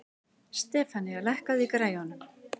Stefanía, lækkaðu í græjunum.